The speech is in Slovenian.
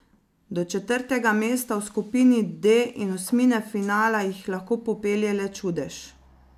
Do četrtega mesta v skupini D in osmine finala jih lahko popelje le čudež.